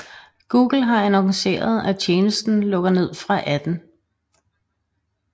Google har annonceret at tjenesten lukker ned fra 18